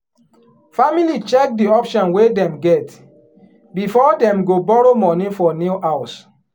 family check di option wey dem get before dem go borrow money for new house.